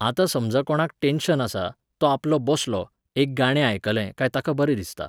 आतां समजा कोणाक टॅन्शन आसा, तो आपलो बसलो, एक गाणें आयकलें काय ताका बरें दिसता.